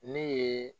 Ne ye